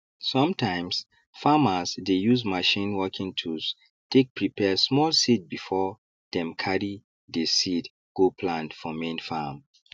sometimes farmers dey use machine working tools take prepare small seed before dem carry dey seed go plant for main farm